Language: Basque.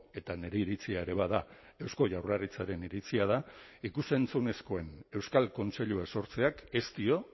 eta nire iritzia ere bada eusko jaurlaritzaren iritzia da ikus entzunezkoen euskal kontseilua sortzeak ez dio